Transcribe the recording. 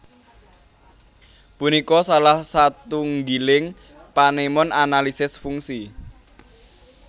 Punika salah satunggiling panemon analisis fungsi